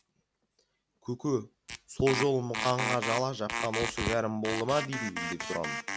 көке сол жолы мұқанға жала жапқан осы кәрім болды ма деймін деп тұрам